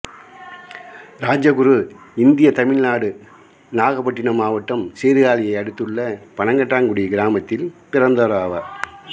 Rajaguru India Tamil Nadu நாகப்பாட்டினம் மாவட்டம் சீர்காழியை அடுத்துள்ள பனங்காட்டாங்குடி கிராமத்தில் பிறந்தவராவார்